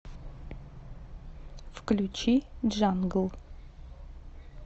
включи джангл